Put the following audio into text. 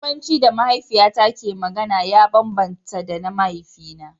Yarbanci da mahaifiyata ke magana ya bambanta da na mahaifina.